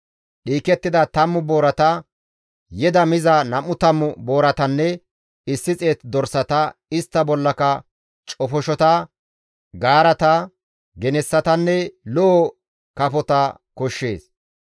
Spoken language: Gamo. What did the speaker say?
dhiikettida 10 boorata, yeda miza 20 booratanne 100 dorsata, istta bollaka cofoshota, gaarata, genessatanne lo7o kafota koshshees.